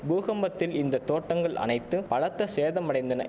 பூகம்பத்தில் இந்த தோட்டங்கள் அனைத்து பலத்த சேதமடைந்தன